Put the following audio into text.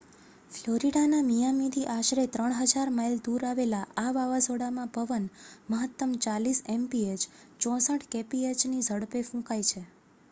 ફ્લોરિડાના મિયામીથી આશરે 3,000 માઇલ દૂર આવેલા આ વાવાઝોડામાં પવન મહત્તમ 40 mph 64 kphની ઝડપે ફૂંકાય છે